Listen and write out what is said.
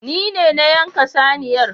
Nine na yanka saniyar